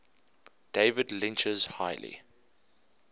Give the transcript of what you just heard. david lynch's highly